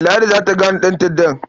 Ladi za ta gane ɗanta'ddan.